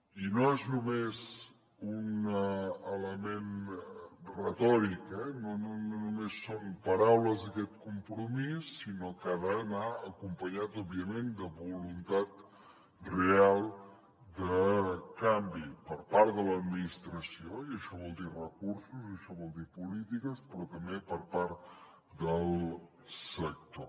i no és només un element retòric eh no només són paraules aquest compromís sinó que ha d’anar acompanyat òbviament de voluntat real de canvi per part de l’administració i això vol dir recursos això vol dir polítiques però també per part del sector